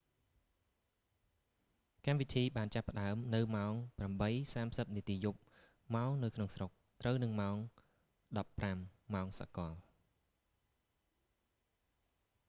កម្មវិធីបានចាប់ផ្តើមនៅម៉ោង 8:30 នាទីយប់ ម៉ោងនៅក្នុងស្រុក ត្រូវនឹងម៉ោង 15.00 ម៉ោងសកល